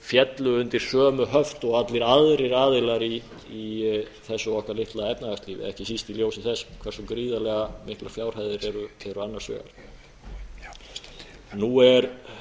féllu undir sömu höft og allir aðrir aðilar í þessu okkar litla efnahagslífi ekki síst í ljósi þess hversu gríðarlega miklar fjárhæðir eru hér annars vegar nú er